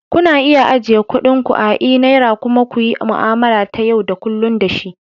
Kuna iya ajiye kuɗin ku a e-naira kuma ku yi mu'amala ta yau da kullun da shi.